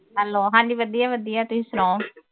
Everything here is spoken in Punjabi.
ਹੈਲੋ ਹੰਜੀ ਵਧੀਆ ਵਧੀਆ ਤੁਸੀਂ ਸੁਣਾਓ